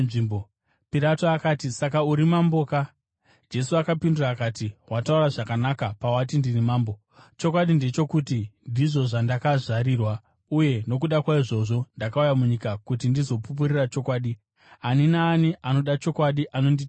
Pirato akati, “Saka uri mamboka!” Jesu akapindura akati, “Wataura zvakanaka pawati ndiri mambo. Chokwadi ndechokuti, ndizvo zvandakazvarirwa, uye nokuda kwaizvozvo ndakauya munyika, kuti ndizopupurira chokwadi. Ani naani anoda chokwadi anonditeerera.”